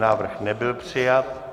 Návrh nebyl přijat.